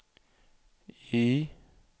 Y